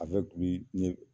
n ye